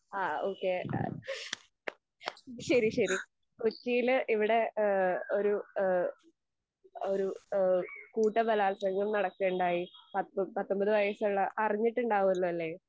അഹ് okay ശെരി ശെരി കൊച്ചീല് ഇവിടെ ഈഹ് ഒരു ഈഹ് ഒരു ഈഹ് കൂട്ട ബലാത്സംഗം നടക്കുകയുണ്ടായി. പത്ത് പത്തൊമ്പത് വയസ്സുള്ള, അറിഞ്ഞിട്ടുണ്ടാവോലോ അല്ലെ?